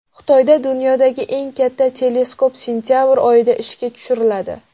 Xitoyda dunyodagi eng katta teleskop sentabr oyida ishga tushiriladi.